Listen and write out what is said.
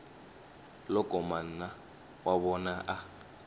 loko mana wa vona a